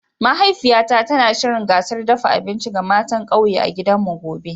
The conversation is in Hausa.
Mahaifiyata tana shirya gasar dafa abinci ga matan kauye a gidanmu gobe.